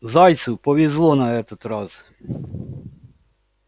зайцу повезло на этот раз